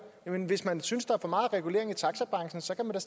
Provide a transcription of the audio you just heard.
jamen hvis man synes der er for meget regulering af taxabranchen så kan man